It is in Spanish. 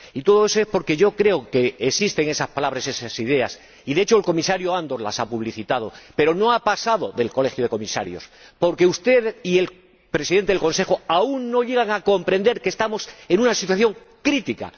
Y todo eso es porque yo creo que existen esas palabras y esas ideas y, de hecho, el Comisario Andor las ha publicitado, pero no han pasado del Colegio de Comisarios, porque usted y el Presidente del Consejo aún no llegan a comprender que estamos en una situación crítica.